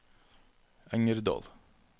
Engerdal